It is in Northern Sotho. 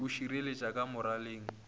be a širetše ka moraleng